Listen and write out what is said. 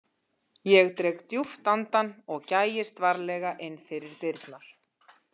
Ég dreg djúpt andann og gægist varlega inn fyrir dyrnar.